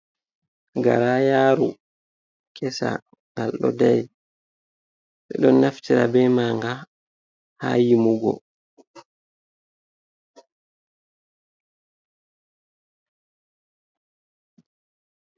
Garayaru kesa, ngal ɗo dari. Ɓe ɗo naftira be manga haa yimugo.